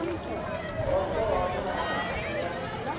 bvaho hone ha hafu ya